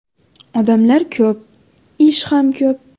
Odamlar ko‘p, ish ham ko‘p.